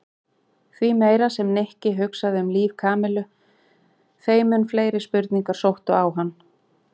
Því meira sem Nikki hugsaði um líf Kamillu þeim mun fleiri spurningar sóttu á hann.